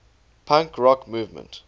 punk rock movement